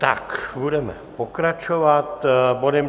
Tak budeme pokračovat bodem